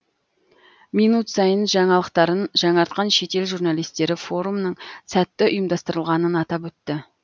минут сайын жаңалықтарын жаңартқан шетел журналистері форумның сәтті ұйымдастырылғанын атап өтті